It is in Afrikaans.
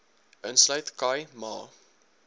insluit khai ma